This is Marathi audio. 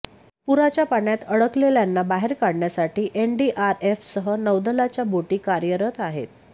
पुराच्या पाण्यात अडकलेल्यांना बाहेर काढण्यासाठी एनडीआरएफसह नौदलाच्या बोटी कार्यरत आहेत